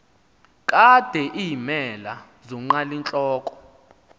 kade iimela zonqalintloko